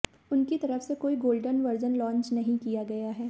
उनकी तरफ से कोई गोल्डन वर्जन लांच नहीं किया गया है